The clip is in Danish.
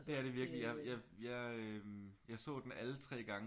Det er det virkeligt jeg så den alle 3 gange